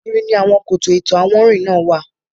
Ara ògiri ni àwọn koto ìtọ̀ àwọnrin náà wà.